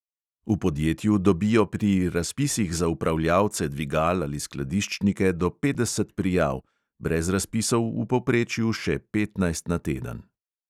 V podjetju dobijo pri razpisih za upravljavce dvigal ali skladiščnike do petdeset prijav; brez razpisov v povprečju še petnajst na teden.